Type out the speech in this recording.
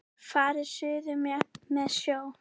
Farið suður með sjó.